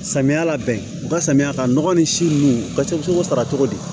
Samiya la bɛn u ka samiya ka nɔgɔ ni si ninnu paseg'o sara cogo di